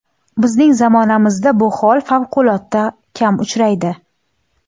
Bizning zamonamizda bu hol favqulodda kam uchraydi.